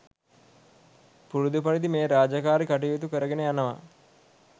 පුරුදු පරිදි මේ රාජකාරී කටයුතු කර ගෙන යනවා